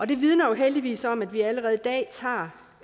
det vidner jo heldigvis om at vi allerede i dag tager